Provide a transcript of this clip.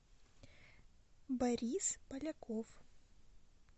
борис поляков